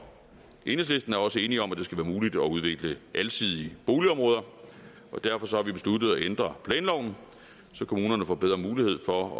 enhedslisten er også enige om at det skal være muligt at udvikle alsidige boligområder derfor har vi besluttet at ændre planloven så kommunerne får bedre mulighed for at